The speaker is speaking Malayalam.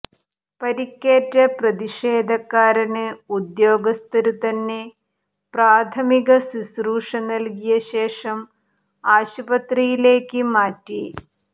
പരിക്കേറ്റ പ്രതിഷേധക്കാരന് ഉദ്യോഗസ്ഥര് തന്നെ പ്രാഥമിക ശുശ്രൂഷ നല്കിയ ശേഷം ആശുപത്രിയിലേക്ക് മാറ്റി